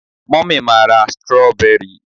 mummy ma ra strawberry.